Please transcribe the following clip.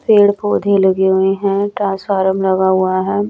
पेड़ पौधे लगे हुए हैं ट्रांसफार्म लगा हुआ है।